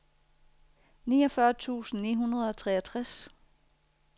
niogfyrre tusind ni hundrede og treogtres